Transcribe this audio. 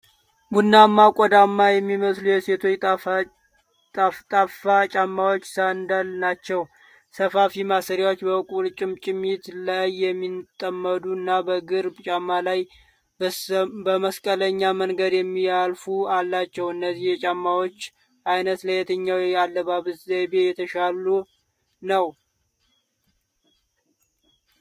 ቡናማ ቆዳማ የሚመስሉ የሴቶች ጠፍጣፋ ጫማዎች (ሳንዳል) ናቸው። ሰፋፊ ማሰሪያዎች በቁርጭምጭሚት ላይ የሚጠመዱ እና በእግር ጫማ ላይ በመስቀለኛ መንገድ የሚያልፉ አላቸው። እነዚህ የጫማዎች ዓይነት ለየትኛው የአለባበስ ዘይቤ የተሻለ ነው?